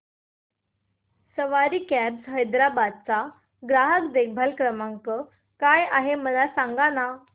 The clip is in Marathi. सवारी कॅब्स हैदराबाद चा ग्राहक देखभाल नंबर काय आहे मला सांगाना